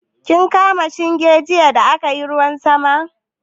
Kin kama shinge jiya da aka yi ruwan sama?